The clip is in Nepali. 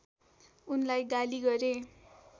उनलाई गाली गरे